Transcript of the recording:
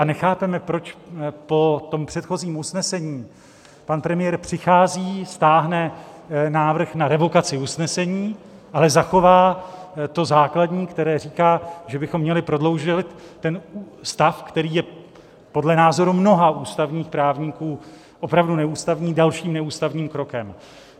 A nechápeme, proč po tom předchozím usnesení pan premiér přichází, stáhne návrh na revokaci usnesení, ale zachová to základní, které říká, že bychom měli prodloužit ten stav, který je podle názoru mnoha ústavních právníků opravdu neústavní, dalším neústavním krokem.